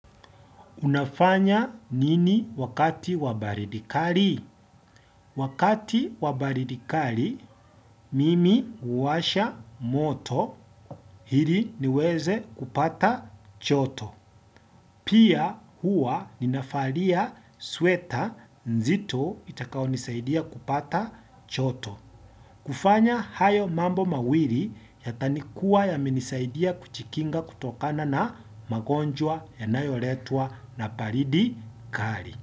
Unafanya nini wakati wa baridi kali? Wakati wa baridi kali, mimi huwasha moto ili niweze kupata joto. Pia huwa ninavalia sweta nzito itakao nisaidia kupata joto. Kufanya hayo mambo mawili yatakuwa yamenisaidia kujikinga kutokana na magonjwa yanayoletwa na baridi kali.